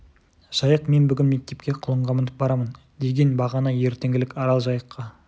жайық мен бүгін мектепке құлынға мініп барамын деген бағана ертеңгілік арал жайыққа